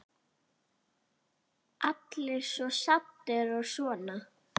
Allir svo saddir og svona.